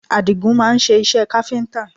Àdigún máa ń ṣe iṣẹ́ káfíńtà